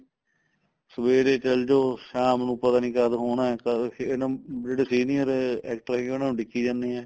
ਸਵੇਰੇ ਚਲੋ ਜੋ ਸ਼ਾਮ ਨੂੰ ਪਤਾ ਨੀਂ ਕਦ ਹੋਣਾ ਕਦ ਇਹ ਨਾ ਜਿਹੜੀ senior actor ਆਈ ਉਨੂੰ ਉਡੀਕੀ ਜਾਨੇ ਏ